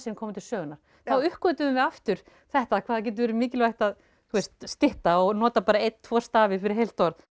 komu til sögunnar þá uppgötvuðum við aftur þetta hvað það getur verið mikilvægt að þú veist stytta og nota bara einn tvo stafi fyrir heilt orð